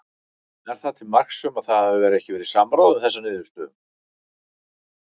Er það til marks um að það hafi ekki verið samráð um þessa niðurstöðum?